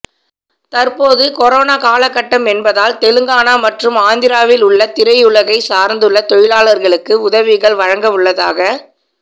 தற்போது கொரொனா காலக்கட்டம் என்பதால் தெலுங்கானா மற்றும் ஆந்திராவில் உள்ள திரையுலகைச் சார்ந்துள்ள தொழிலாளர்களுக்கு உதவிகள் வழங்கவுள்ளதாக